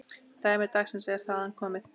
Dæmi dagsins er þaðan komið.